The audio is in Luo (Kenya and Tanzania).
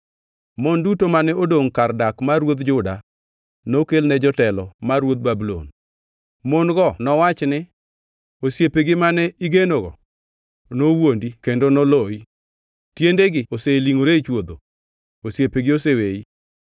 Mon duto mane odongʼ kar dak mar ruodh Juda nokelne jotelo mar ruodh Babulon. Mon-go nowachni ni: Osiepegi mane igenogo nowuondi kendo noloyi. Tiendegi oselingʼore e chwodho; osiepegi oseweyi.